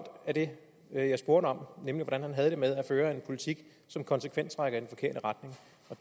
af det jeg jeg spurgte om nemlig hvordan han havde det med at føre en politik som konsekvent trækker